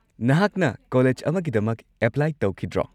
ꯅꯍꯥꯛꯅ ꯀꯣꯂꯦꯖ ꯑꯃꯒꯤꯗꯃꯛ ꯑꯦꯄ꯭ꯂꯥꯏ ꯇꯧꯈꯤꯗ꯭ꯔꯣ?